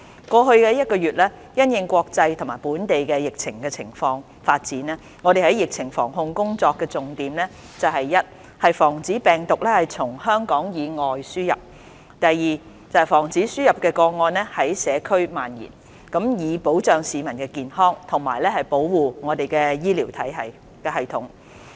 過去一個多月，因應國際及本地疫情發展，我們在疫情防控工作的重點是：第一，防止病毒從香港以外地方輸入；第二，防止輸入個案在社區蔓延，以保障市民的健康及保護我們的醫療系統。